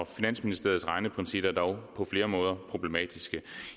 finansministeriets regneprincipper er dog på flere måder problematiske